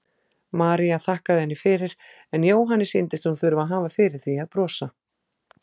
María þakkaði henni fyrir en Jóhanni sýndist hún þurfa að hafa fyrir því að brosa.